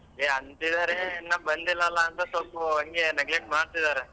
ಏ ಅಂತಿದಾರೆ ಇನ್ನ ಬಂದಿಲ್ಲಲ್ಲಾ ಅಂತ ಸ್ವಲ್ಪ ಹಂಗೆ neglect ಮಾಡ್ತಿದಾರೆ .